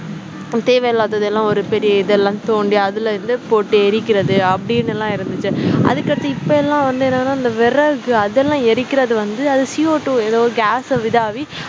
தேவையில்லாதது எல்லாம் ஒரு பெரிய இதெல்லாம் தோண்டி அதில இருந்து போட்டு எரிக்கிறது அப்படின்னு எல்லாம் இருந்துச்சு அதுக்கடுத்தது இப்ப எல்லாம் வந்து என்னனா அந்த விறகு அதெல்லாம் எரிக்கிறது வந்து அது CO two ஏதோ gas